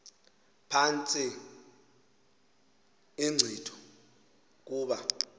phantsi inkcitho kuba